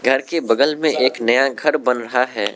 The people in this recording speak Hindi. घर के बगल में एक नया घर बन रहा है।